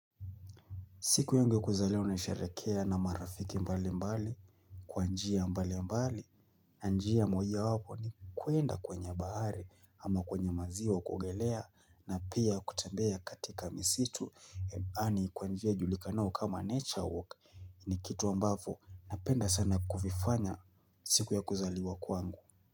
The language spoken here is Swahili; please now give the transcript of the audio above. Siku yangu ya kuzaliwa nasherehekea na marafiki mbali mbali Kwa njia mbali mbali na njia moja wapo ni kuenda kwenye bahari ama kwenye maziwa kuogelea na pia kutembea katika misitu Yaani kwa njia ijulikanao kama nature walk ni kitu ambavo napenda sana kuvifanya siku ya kuzaliwa kwangu.